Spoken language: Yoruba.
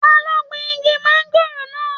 Ta ní o gbìn igi mangòrò náà?